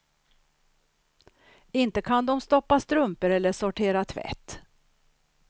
Inte kan de stoppa strumpor eller sortera tvätt.